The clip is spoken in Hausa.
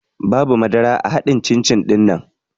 Babu madara a haɗin cin-cin ɗinnan